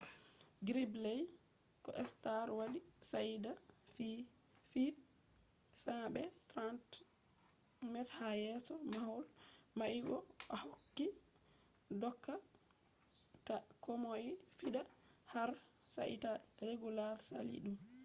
gridley ko stark wadi shaida feet 100 be 30 m ha yeso mahol mai bo ohokki doka ta komoi fiɗa har sai ta regulars saali ɗum